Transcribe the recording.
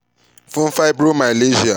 fun fibromyalgia